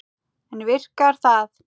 En virkar það?